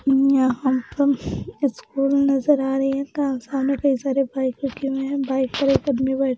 यहाँ स्कूल नजर आ रहे हैं कारखानें पे कई सारे बाइक रखे हुए है बाइक पर एक आदमी बैठा --